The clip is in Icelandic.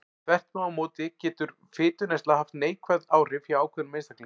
Þvert má móti getur minni fituneysla haft neikvæð áhrif hjá ákveðnum einstaklingum.